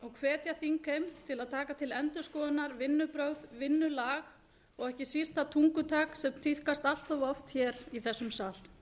hvetja þingheim til að taka til endurskoðunar vinnubrögð vinnulag og ekki síst það tungutak sem tíðkast allt of oft í þessum sal